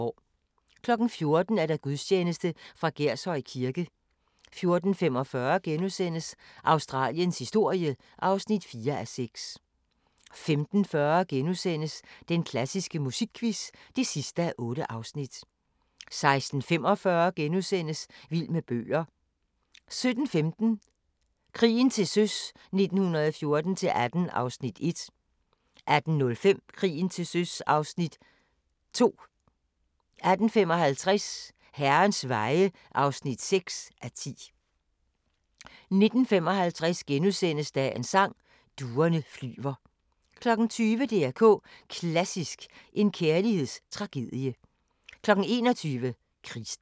14:00: Gudstjeneste fra Gershøj Kirke 14:45: Australiens historie (4:6)* 15:40: Den klassiske musikquiz (8:8)* 16:45: Vild med bøger * 17:15: Krigen til søs 1914-18 (Afs. 1) 18:05: Krigen til søs 1914-18 (Afs. 2) 18:55: Herrens veje (6:10) 19:55: Dagens Sang: Duerne flyver * 20:00: DR K Klassisk: En kærlighedstragedie 21:00: Krigsdans